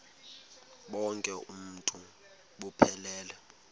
bonk uuntu buphelele